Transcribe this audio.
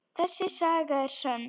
Þessi saga er sönn.